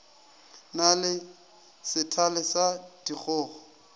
na le sethale sa dikgogo